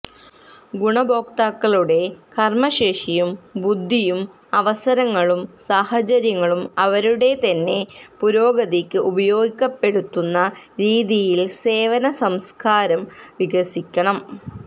ഗുണഭോക്താക്കളുടെ കര്മശേഷിയും ബുദ്ധിയും അവസരങ്ങളും സാഹചര്യങ്ങളും അവരുടെതന്നെ പുരോഗതിക്ക് ഉപയോഗപ്പെടുത്തുന്ന രീതിയില് സേവന സംസ്കാരം വികസിക്കണം